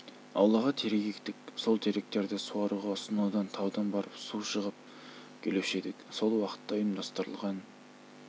аулаға терек ектік сол теректерді суаруға сонау таудан барып су жығып келуші едік сол уақытта ұйымдастырылған